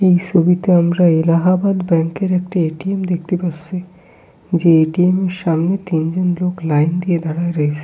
এই ছবিতে আমরা এলাহাবাদ ব্যাংক -এর একটি এ.টি.এম. দেখতে পাসসি যে এ.টি.এম. এর সামনে তিনজন লোক লাইন দিয়ে দাঁড়ায় রয়েসে।